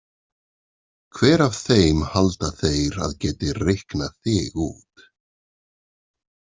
Hver af þeim halda þeir að geti reiknað þig út?